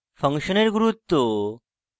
function এর গুরুত্ব